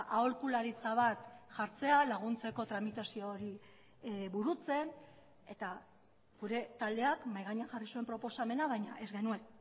aholkularitza bat jartzea laguntzeko tramitazio hori burutzen eta gure taldeak mahai gainean jarri zuen proposamena baina ez genuen